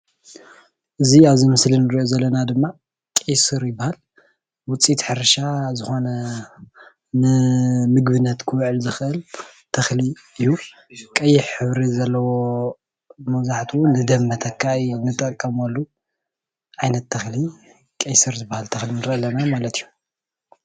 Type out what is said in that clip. እዚ ኣብዚ ምስሊ ንሪኦ ዘለና ድማ ቀይሱር ይበሃል፡፡ ዉፅኢት ሕርሻ ዝኮነ ንምግብነት ክዉዕል ዝክእል ተክሊ እዩ። ቀይሕ ሕብሪ ዘለዎ መብዛሕትኡ ንደም መተካኢ ንጥቀመሉ ዓይነት ተክሊ ቀይሱር ዝበሃል ተክሊ ንሪኢ ኣለና ማለት እዩ፡፡